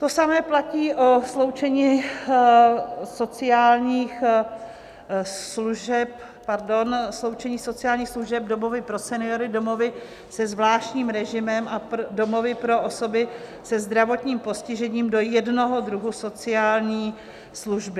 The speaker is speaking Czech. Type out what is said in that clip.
To samé platí o sloučení sociálních služeb - domovy pro seniory, domovy se zvláštním režimem a domovy pro osoby se zdravotním postižením - do jednoho druhu sociální služby.